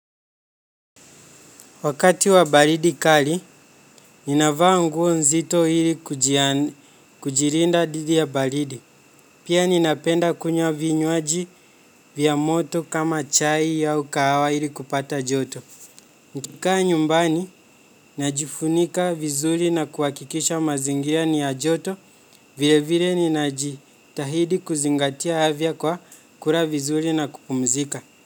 Wakati wa baridi kali, ninavaa nguo nzito ili kujilida didi ya baridi. Pia ninapenda kunywa vinywaji vya moto kama chai au kahawa ili kupata joto. Nikikaa nyumbani, najifunika vizuri na kuhakikisha mazingira ni ya joto vile vile ninajitahidi kuzingatia afya kwa kula vizuri na kupumzika.